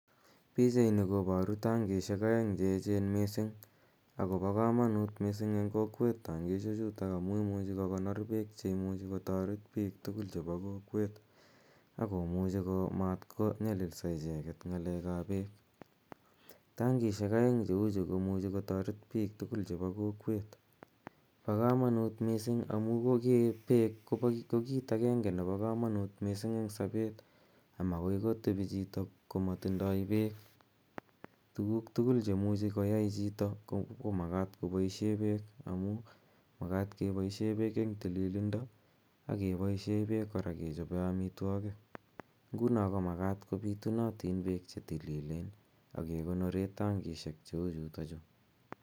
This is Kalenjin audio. Pichaini koboru tankisiek oeng cheechen misink akobo komonut misink en kokwet tankisiechuto amun imuche kokonor beek cheimuche kotoret bik tugul en kokwet akomuche komat konyililso icheket en ngalekab beek ,tankisiek oeng cheuchu komuche kotoret bik tugul chebi kokwet bokomonut kot misink amun beek kobokomonut ,kokit agenege nebo komonut en sobet amakoo kotebi chito komotindoi beek, tuguk tugul cheimuche koyai chito komakat koboisien beek amun makaat keboisien beek en tililindo ak keboisien beek koraa kechobe omitwogik ngunon komakat kobitunot beek chetililen ak kekonoren tankisiek cheuchuton chu.